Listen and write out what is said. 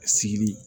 Sigili